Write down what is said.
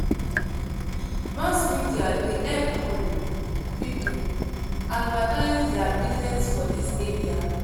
Mass media dey help um pipo advertise their business for dis area.